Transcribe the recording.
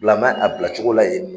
Bilama a bilacogo la yen